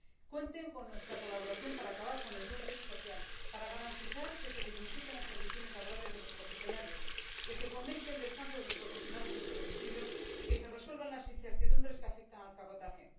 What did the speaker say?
Cuenten con nuestra colaboración para acabar con el dumping social, para garantizar que se dignifiquen las condiciones laborales de los profesionales, que se fomente el descanso de los profesionales en su domicilio y que se resuelvan las incertidumbres que afectan al cabotaje.